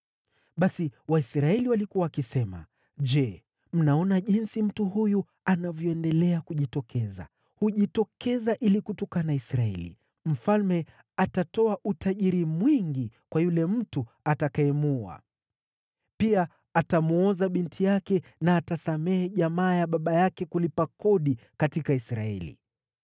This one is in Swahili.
Basi Waisraeli walikuwa wakisema, “Je, mnaona jinsi mtu huyu anavyoendelea kujitokeza. Hujitokeza ili kutukana Israeli. Mfalme atatoa utajiri mwingi kwa yule mtu atakayemuua. Pia atamwoza binti yake na atasamehe jamaa ya baba yake kulipa kodi katika Israeli.”